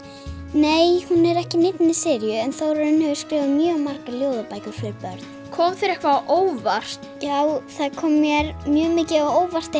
nei hún er ekki í neinni seríu en Þórarinn hefur skrifað mjög margar ljóðabækur fyrir börn kom þér eitthvað á óvart já það kom mér mjög mikið á óvart